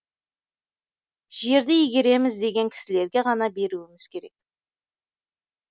жерді игереміз деген кісілерге ғана беруіміз керек